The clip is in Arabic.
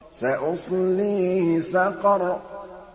سَأُصْلِيهِ سَقَرَ